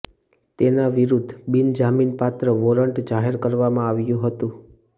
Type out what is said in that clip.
તેના વિરૂદ્ધ બિનજામીન પાત્ર વોરંટ જાહેર કરવામાં આવ્યું હતું